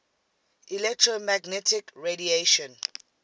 electromagnetic radiation